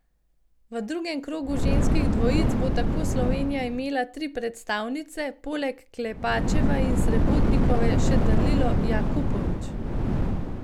V drugem krogu ženskih dvojic bo tako Slovenija imela tri predstavnice, poleg Klepačeve in Srebotnikove še Dalilo Jakupović.